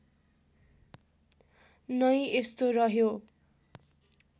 नै यस्तो रह्यो